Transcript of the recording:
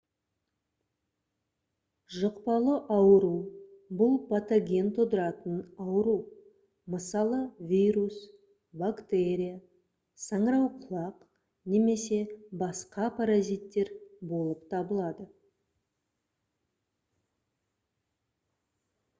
жұқпалы ауру бұл патоген тудыратын ауру мысалы вирус бактерия саңырауқұлақ немесе басқа паразиттер болып табылады